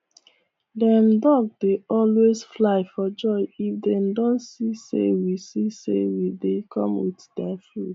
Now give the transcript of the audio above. dem duck dey always fly for joy if dem don see say we see say we dey come with dia food